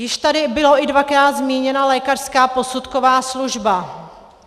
Již tady byla i dvakrát zmíněna lékařská posudková služba.